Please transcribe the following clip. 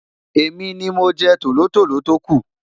èmi ní mọ jẹ tòlótòló toku